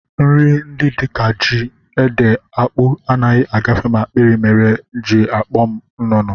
Nri ndị dịka ji, ede, akpụ, anaghị agafe m akpịrị mere e ji akpọ m nnụnụ